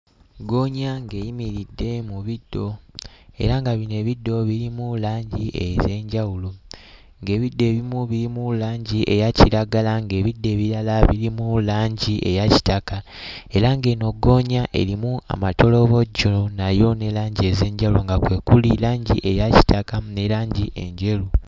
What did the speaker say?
Ggoonya ng'eyimiridde mu biddo era nga bino ebiddo birimu langi ez'enjawulo, ng'ebiddo ebimu birimu langi eya kiragala, ng'ebiddo ebirala birimu langi eya kitaka era ng'eno ggoonya erimu amatolobojjo nayo ne langi ez'enjawulo nga kwe kuli langi eya kitakamu ne langi enjeru.